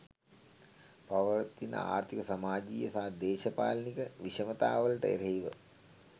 පවතින ආර්ථීක සමාජීය සහ දේශපාලනික විෂමතාවලට එරෙහිව